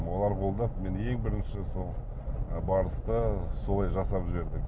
олар қолдап мен ең бірінші сол ы барысты солай жасап жіберді